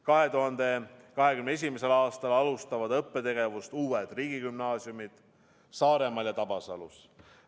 2021. aastal alustavad õppetegevust uued riigigümnaasiumid Saaremaal ja Tabasalus.